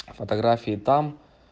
фотографии там